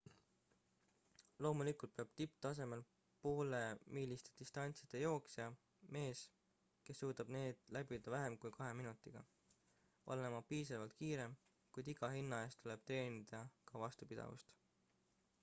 loomulikult peab tipptasemel poolemiiliste distantside jooksja mees kes suudab need läbida vähem kui kahe minutiga olema piisavalt kiire kuid iga hinna eest tuleb treenida ka vastupidavust